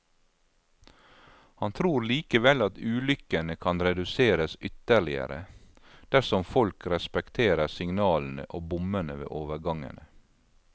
Han tror likevel at ulykkene kan reduseres ytterligere, dersom folk respekterer signalene og bommene ved overgangene.